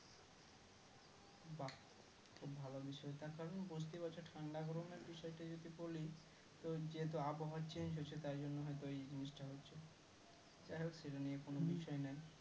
তার কারণ বুঝতে পারছো ঠান্ডা গরমের বিষয় টা যদি বলি তো যেহেতু আবহাওয়া change হছে তাই জন্য হয়তো এই জিনিস হচ্ছে যাই হোক সেটা নিয়ে কোনো বিষয় নাই,